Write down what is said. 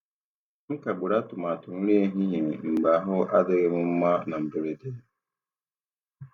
M kagburu atụmatụ nri ehihie mgbe ahụ adịghị m mma na mberede.